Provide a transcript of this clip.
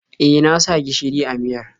E, na sa gishiri a miyar.